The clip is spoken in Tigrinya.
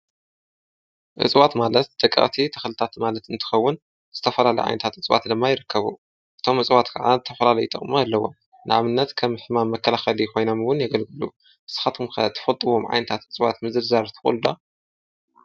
እፅዋት ማለት ደቂቐቲ ተኸልታት ማለት እንትኸውን ዝተፈላለዩ ዓይነታት ኣጽዋት ድማ ይረከቡ፡፡ እቶም ኣጽዋት ከዓ ዝተፈላለዩ ዓይነት ጥቕሚ ኣለዎም፡፡ ንኣብነት ከም ሕማመ መከላኸሊ ኾይናም ውን የገልግሉ፡፡ ንስኻትኩም ከ ትፈጥዎም ዓይነታት እጽዋት ምዝርዛር ትኽእሉ ዶ?